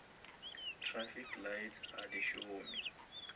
trafic lights ga di šome